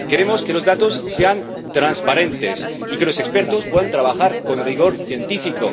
Queremos que los datos sean transparentes y que los expertos puedan trabajar con rigor científico.